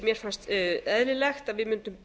mér fannst eðlilegt að við mundum